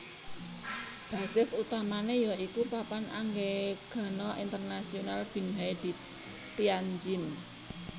Basis utamané ya iku Papan Anggegana Internasional Binhai di Tianjin